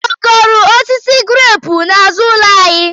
Ọ kụrụ osisi greepu n'azụ ụlọ anyị?